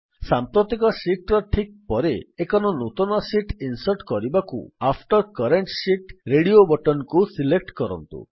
ସାମ୍ପ୍ରତିକ ଶୀଟ୍ ର ଠିକ୍ ପରେ ଏକ ନୂତନ ଶୀଟ୍ ଇନ୍ସର୍ଟ୍ କରିବାକୁ after current sheet radio button କୁ ସିଲେକ୍ଟ୍ କରନ୍ତୁ